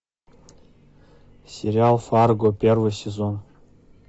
сериал фарго первый сезон